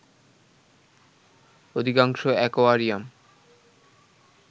অধিকাংশ অ্যাকোয়ারিয়াম